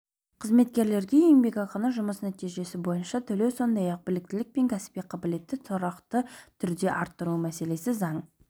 қызметкерлерге еңбекақыны жұмыс нәтижесі бойынша төлеу сондай-ақ біліктілік пен кәсіби қабілетті тұрақты түрде арттыру мәселесі заң